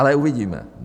Ale uvidíme.